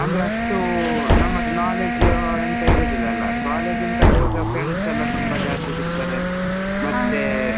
ಅಂದ್ರೆ ಅಷ್ಟು ನಮ್ಮದು knowledge ಅಂತ ಇರುದಿಲ್ಲ ಅಲ college ಅಂತ ಆಗುವಾಗ friends ಎಲ್ಲ ತುಂಬಾ ಜಾಸ್ತಿ ಸಿಗ್ತಾರೆ ಮತ್ತೆ.